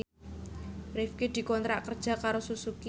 Rifqi dikontrak kerja karo Suzuki